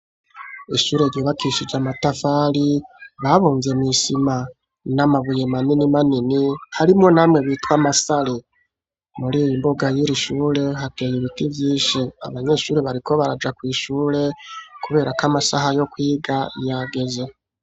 Ishure ryubakishije amatafalr babunze mu isima n'amabuye manini manini harimo namwe bitwa masari muri mbuga y'irishure hateye ibiti vyinshi abanyeshuri bariko baraja kw'ishure kubera ko amasaha yo kwiga yageze.